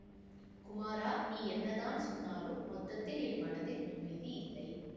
குமாரா நீ என்னதான் சொன்னாலும் மொத்தத்தில் என் மனத்தில் அமைதி இல்லை